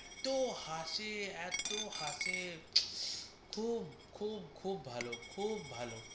এত হাসে এত হাসে খুব খুব খুব ভালো খুব ভালো।